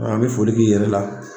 A an bi foli k'i yɛrɛ la